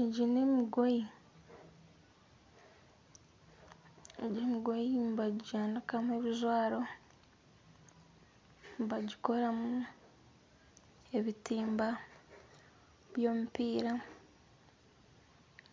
Egi n'emigoye. Egi emigoye enyingi nibajanikamu ebijwaro. Nibagikoramu ebitimba by'omupiira.